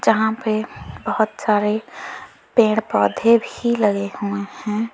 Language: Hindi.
यहां पे बहोत सारे पेड़ पौधे भी लगे हुए हैं।